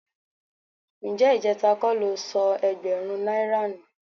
Ǹjẹ́ ìjẹ́ta kọ́ lo sọ ẹgbẹ̀rún náírà nù?